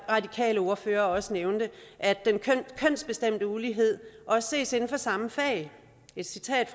radikale ordfører også nævnte at den kønsbestemte ulighed også ses inden for samme fag et citat